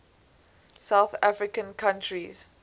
south american countries